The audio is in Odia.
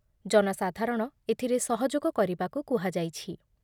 ଜନସାଧାରଣ ଏଥିରେ ସହଯୋଗ କରିବାକୁ କୁହାଯାଇଛି ।